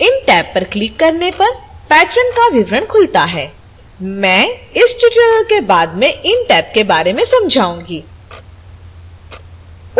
इन tab पर click करने पर patron का विवरण खुलता है